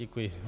Děkuji.